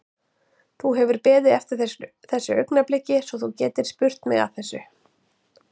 Þú hefur beðið eftir þessu augnabliki svo þú getir spurt mig að þessu?